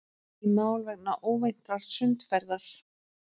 Í mál vegna óvæntrar sundferðar